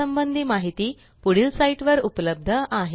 या संबंधी माहिती पुढील साईटवर उपलब्ध आहे